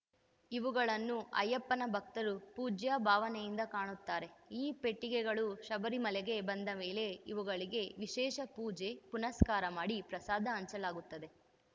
ಇವುಗಳನ್ನು ಅಯ್ಯಪ್ಪನ ಭಕ್ತರು ಪೂಜ್ಯ ಭಾವನೆಯಿಂದ ಕಾಣುತ್ತಾರೆ ಈ ಪೆಟ್ಟಿಗೆಗಳು ಶಬರಿಮಲೆಗೆ ಬಂದ ಮೇಲೆ ಇವುಗಳಿಗೆ ವಿಶೇಷ ಪೂಜೆ ಪುನಸ್ಕಾರ ಮಾಡಿ ಪ್ರಸಾದ ಹಂಚಲಾಗುತ್ತದೆ